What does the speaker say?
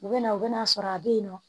U bɛ na u bɛ n'a sɔrɔ a bɛ yen nɔ